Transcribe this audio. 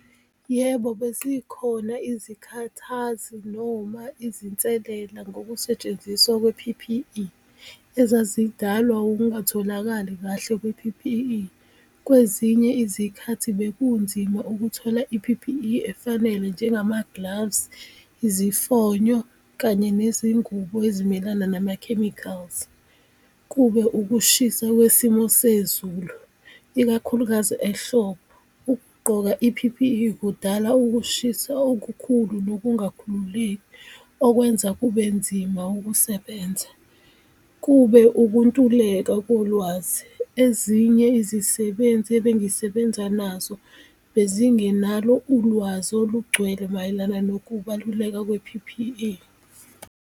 Yebo, bezikhona izikhathazi noma izinselela ngokusetshenziswa kwe-P_P_E ezazidalwa ungatholakali kahle kwe-P_P_E, kwezinye izikhathi bekunzima ukuthola i-P_P_E efanele njengama-gloves, izifonyo kanye nezingubo ezimelana nama-chemicals. Kube ukushisa kwesimo sezulu ikakhulukazi ehlobo, ukugqoka i-P_P_E kudala ukushisa okukhulu nokungakhululeki okwenza kube nzima ukusebenza. Kube ukuntuleka kolwazi, ezinye izisebenzi ebengisebenza nazo bezingenalo ulwazi olugcwele mayelana nokubaluleka kwe-P_P_E.